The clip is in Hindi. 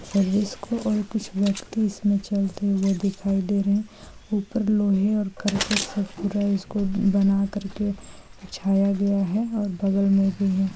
सर्विस को और कुछ वक्त ही इसमे चलते हुए दिखाई दे रहे ऊपर लोहे और कर्कट से पूरा इसको बनाकर के बिछाया गया है और बगल मे भी है।